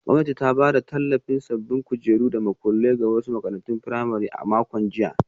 Gwamnati ta bayar da tallafin sabbin kujeru da makullai ga wasu makarantun firamare a makon jiya.